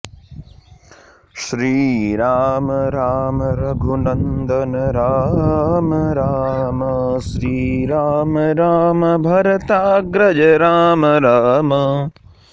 Shriram Ram Raghunandan Ram Ram Shriram Ram Bharatagraj Ram Ram